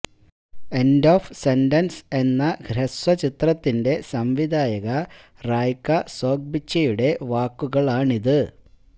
end of sentence എന്ന ഹൃസ്വ ചിത്രത്തിന്റെ സംവിധായക റായ്ക സോഹ്ബ്ച്ചിയുടെ വാക്കുകളാണിത്